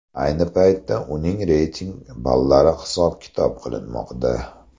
Ayni paytda uning reyting ballari hisob-kitob qilinmoqda.